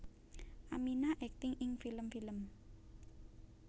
Aminah akting ing film film